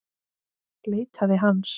Leitaði hans.